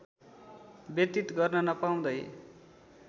व्यतीत गर्न नपाउँदै